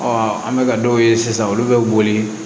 an bɛ ka dɔw ye sisan olu bɛ boli